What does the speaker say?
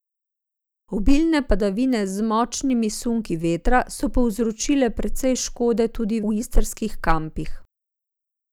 Obilne padavine z močnimi sunki vetra so povzročile precej škode tudi v istrskih kampih.